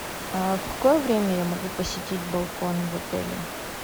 а в какое время я могу посетить балкон в отеле